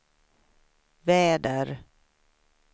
väder